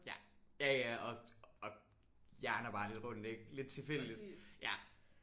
Ja. Ja ja og og hjerner bare lidt rundt ik? Lidt tilfældigt